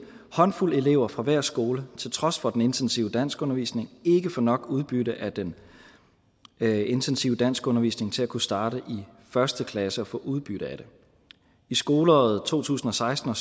håndfuld elever fra hver skole til trods for den intensive danskundervisning ikke få nok udbytte af den intensive danskundervisning til at kunne starte i første klasse og få udbytte af det i skoleåret to tusind og seksten